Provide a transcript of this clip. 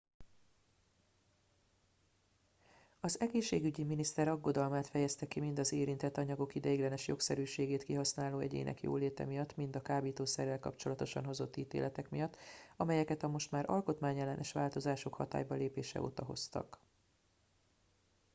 az egészségügyi miniszter aggodalmát fejezte ki mind az érintett anyagok ideiglenes jogszerűségét kihasználó egyének jóléte miatt mind a kábítószerrel kapcsolatosan hozott ítéletek miatt amelyeket a most már alkotmányellenes változások hatálybalépése óta hoztak